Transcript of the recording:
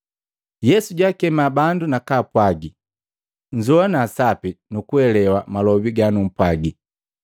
Yesu jwaakema bandu nakwaapwagi, “Nzowana sapi nukuelewa malobi ganumpwagi!